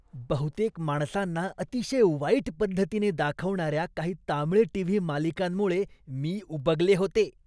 बहुतेक माणसांना अतिशय वाईट पद्धतीने दाखवणाऱ्या काही तामिळ टी.व्ही. मालिकांमुळे मी उबगले होते.